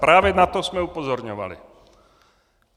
Právě na to jsme upozorňovali.